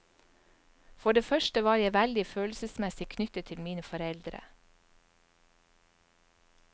For det første var jeg veldig følelsesmessig knyttet til mine foreldre.